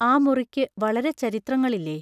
ആ മുറിക്കു വളരെ ചരിത്രങ്ങളില്ലേ?